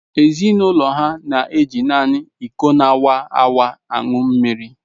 Ezinụlọ ha na eji naanị iko na-awaawa aṅụ mmiri.